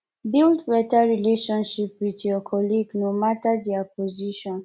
build better relationship with your colleague no matter their position